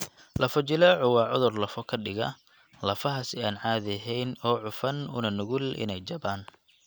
Lafo-jileecu waa cudur lafo ka dhiga lafaha si aan caadi ahayn oo cufan una nugul inay jabaan (jabka).